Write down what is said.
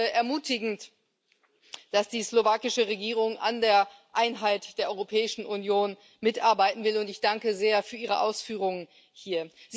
Es ist ermutigend, dass die slowakische Regierung an der Einheit der Europäischen Union mitarbeiten will, und ich danke sehr für Ihre Ausführungen hier.